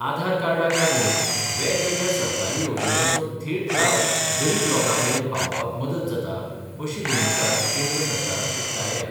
आधार कार्डाक लागुन वेगवेगळ्या सरकारी येवजणेंचो थेट लाव गरीब लोकांमेरेन पावोवपाक मदत जाता, अशी भुमिका केंद्र सरकारान उक्तायल्या.